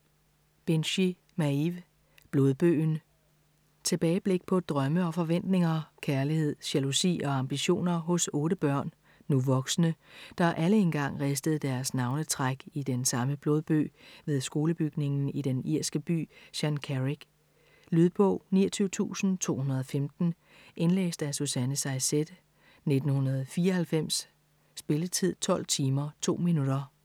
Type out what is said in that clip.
Binchy, Maeve: Blodbøgen Tilbageblik på drømme og forventninger, kærlighed, jalousi og ambitioner hos otte børn - nu voksne - der alle engang ristede deres navnetræk i den samme blodbøg ved skolebygningen i den irske by Shancarrig. Lydbog 29215 Indlæst af Susanne Saysette, 1994. Spilletid: 12 timer, 2 minutter.